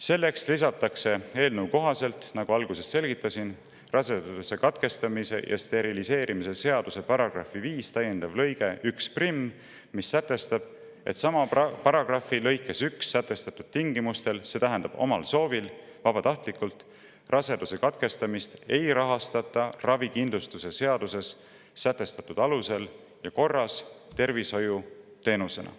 Selleks lisatakse, nagu ma alguses selgitasin, raseduse katkestamise ja steriliseerimise seaduse § 5 täiendav lõige 11, mis sätestab, et sama paragrahvi lõikes 1 sätestatud tingimustel – see tähendab omal soovil, vabatahtlikult – raseduse katkestamist ei rahastata ravikindlustuse seaduses sätestatud alusel ja korras tervishoiuteenusena.